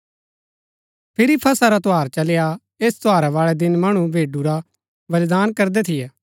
फिरी फसह रा त्यौहार चली आ ऐस त्यौहारा बाळै दिन मणु भेडू रा बलिदान करदै थियै